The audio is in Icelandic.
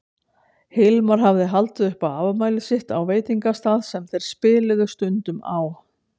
Hilmar hafði haldið upp á afmælið sitt á veitingastað sem þeir spiluðu stundum á.